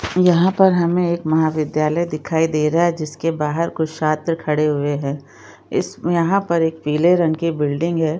यहाँ पर हमें एक महाविद्यालय दिखाई दे रहा है जिसके बाहर कुछ छात्र खड़े हुए है इस यहाँ पर एक पीले रंग की बिल्डिंग हैं।